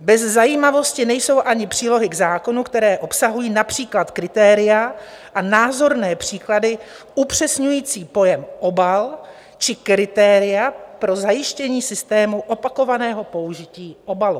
Bez zajímavosti nejsou ani přílohy k zákonu, které obsahují například kritéria a názorné příklady upřesňující pojem "obal" či kritéria pro zajištění systému opakovaného použití obalu.